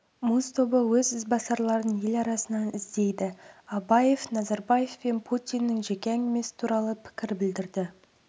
муз тобы өз ізбасарларын ел арасынан іздейді абаев назарбаев пен путиннің жеке әңгімесі туралы пікір білдірді